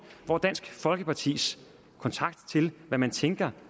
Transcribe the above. hvor dansk folkepartis kontakt til hvad man tænker